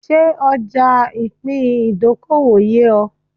Ṣé ọja ipin ìdókòwò yé o?